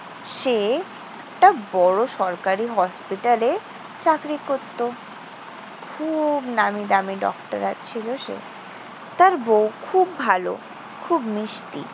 সে একটা বড় সরকারি হসপিটালে চাকরি করত। খুব নামিদামি ডক্টর আছিলো সে। তার বউ খুব ভালো, খুব মিষ্টি।